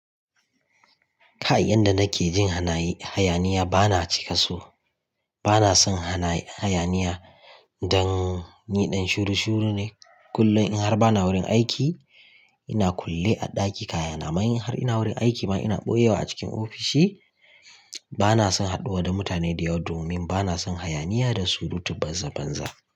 Kayi yanda nake jin hayaniya bana cika so. Bana son hayaniya dan ni dan shuru shuru ne. Kullum in har bana wurin aiki ina kulle a ɗaki kaya. Na mayi har ina wurin aiki ma ina ɓoye wa a cikin ofishi. Bana son haɗuwa da mutane da yawa domin bana son hayaniya da surutu banza banza.